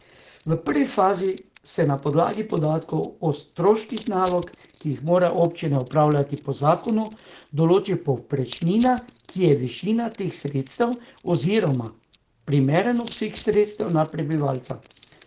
V prvi fazi se na podlagi podatkov o stroških nalog, ki jih morajo občine opravljati po zakonu, določi povprečnina, ki je višina teh sredstev oziroma primeren obseg sredstev na prebivalca.